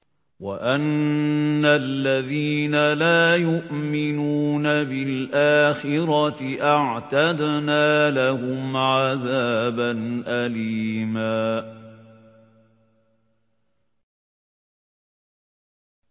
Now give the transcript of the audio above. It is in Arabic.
وَأَنَّ الَّذِينَ لَا يُؤْمِنُونَ بِالْآخِرَةِ أَعْتَدْنَا لَهُمْ عَذَابًا أَلِيمًا